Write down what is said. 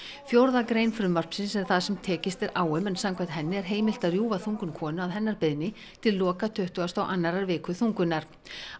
fjórða grein frumvarpsins er það sem tekist er á um en samkvæmt henni er heimilt að rjúfa þungun konu að hennar beiðni til loka tuttugustu og annarrar viku þungunar